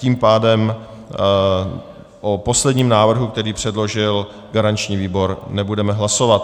Tím pádem o posledním návrhu, který předložil garanční výbor, nebudeme hlasovat.